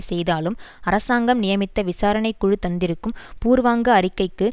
செய்தாலும் அரசாங்கம் நியமித்த விசாரணை குழு தந்திருக்கும் பூர்வாங்க அறிக்கைக்கு